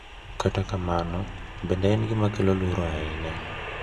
Kata kamano, bende en gima kelo luoro ahinya.